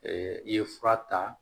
i ye fura ta